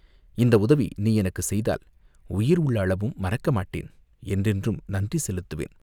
இந்த உதவி நீ எனக்குச் செய்தால் உயிர் உள்ள அளவும் மறக்க மாட்டேன், என்றென்றும் நன்றி செலுத்துவேன்.